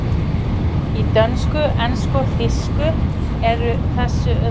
Í dönsku, ensku og þýsku er þessu öðru vísi farið þar sem málvenjan er önnur.